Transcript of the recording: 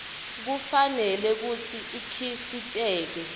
kufanele kutsi ikhiciteke